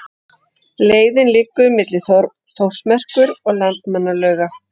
Leiðin liggur milli Þórsmerkur og Landmannalauga.